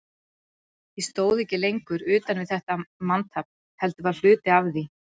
Ég stóð ekki lengur utan við þetta manntafl, heldur var hluti af því.